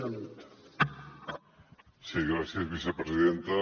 sí gràcies vicepresidenta